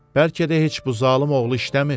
Bəlkə də heç bu zalım oğlu işləmir.